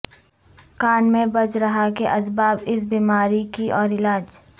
کان میں بج رہا کے اسباب اس بیماری کی اور علاج